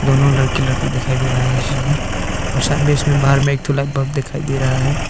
दोनों लड़का लड़की दिखाई दे रहा है इन में और सन बेस में बाहर में एक ठो लाइट बल्ब दिखाई दे रहा है।